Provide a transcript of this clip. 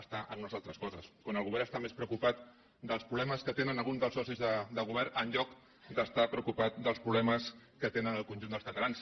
està per unes altres coses quan el govern està més preocupat pels problemes que tenen alguns dels socis de govern en lloc d’estar preocupat dels problemes que tenen el conjunt dels catalans